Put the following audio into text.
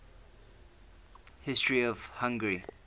history of hungary